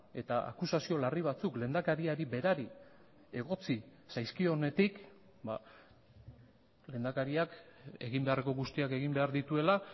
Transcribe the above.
eta akusazio larri batzuk lehendakariari berari egotzi zaizkionetik lehendakariak egin beharreko guztiak egin behar dituela